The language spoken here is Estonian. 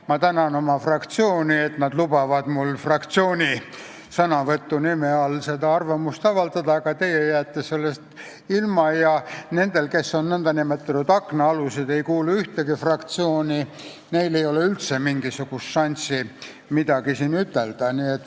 Ma tänan oma fraktsiooni, et nad lubavad mul fraktsiooni sõnavõtu nime all arvamust avaldada, aga teie jääte sellest võimalusest ilma, ja nendel, kes on nn aknaalused ega kuulu ühtegi fraktsiooni, ei ole üldse mingisugust šanssi siin midagi ütelda.